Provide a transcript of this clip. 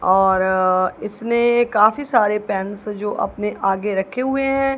और इसने काफी सारे पेंस जो अपने आगे रखे हुए हैं।